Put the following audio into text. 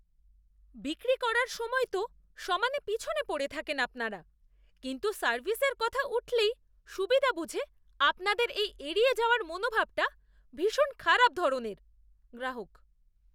বিক্রি করার সময় তো সমানে পিছনে পড়ে থাকেন আপনারা কিন্তু সার্ভিসের কথা উঠলেই সুবিধা বুঝে আপনাদের এই এড়িয়ে যাওয়ার মনোভাবটা ভীষণ খারাপ ধরনের। গ্রাহক